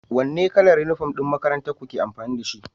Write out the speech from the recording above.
Wane kalar uniform ɗin makarantar ku ke amfani da shi?